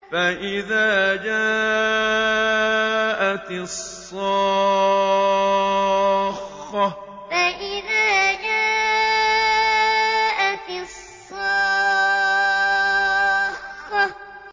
فَإِذَا جَاءَتِ الصَّاخَّةُ فَإِذَا جَاءَتِ الصَّاخَّةُ